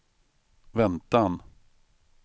väntan